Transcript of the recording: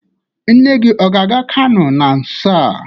Nne gi ọ ga-aga Kano na nso a?